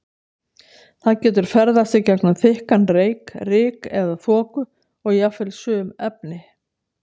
Það getur ferðast í gegnum þykkan reyk, ryk eða þoku og jafnvel sum efni.